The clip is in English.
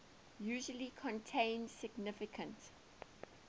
usually contain significant